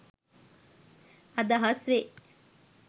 අදහස් වේ.